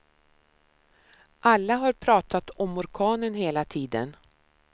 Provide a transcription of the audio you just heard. Alla har pratat om orkanen hela tiden.